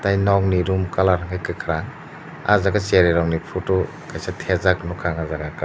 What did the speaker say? tei nog ni room colour hingke kakarang ah jaga cherai rok poto kaisa tepjak nogka ah jaga kao.